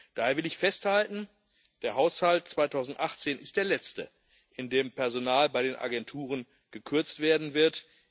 Daher will ich festhalten Der Haushalt 2018 ist der letzte, in dem Personal bei den Agenturen gekürzt werden wird.